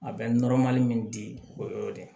A bɛ min di o y'o de ye